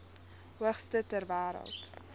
hoogste ter wêreld